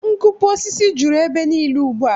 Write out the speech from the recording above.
Nkupu osisi juru ebe niile ugbua